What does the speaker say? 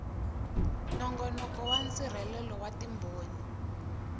nongonoko wa nsirhelelo wa timbhoni